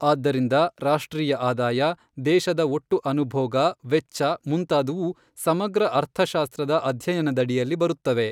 ಆದ್ದರಿಂದ ರಾಷ್ಟ್ರೀಯ ಆದಾಯ ದೇಶದ ಒಟ್ಟು ಅನುಭೋಗ ವೆಚ್ಚ ಮುಂತಾದುವು ಸಮಗ್ರ ಅರ್ಥಶಾಸ್ತ್ರದ ಅಧ್ಯಯನದಡಿಯಲ್ಲಿ ಬರುತ್ತವೆ.